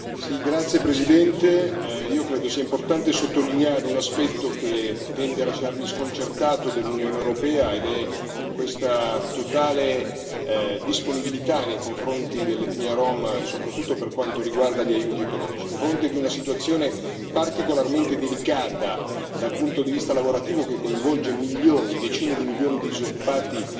Signora Presidente, onorevoli colleghi, io credo sia importante sottolineare un aspetto che tende a lasciarmi sconcertato dell'Unione europea, ed è questa totale disponibilità nei confronti dell'etnia rom, soprattutto per quanto riguarda gli aiuti economici, a fronte di una situazione particolarmente delicata dal punto di vista lavorativo, che coinvolge milioni, decine di milioni di disoccupati